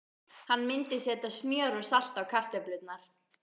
Hann myndi setja smjör og salt á kartöflurnar.